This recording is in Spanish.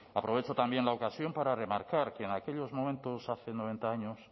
aprovecho también la ocasión para remarcar que en aquellos momentos hace noventa años